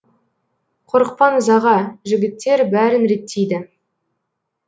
қорықпаңыз аға жігіттер бәрін реттейді